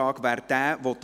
Ja / Oui Nein /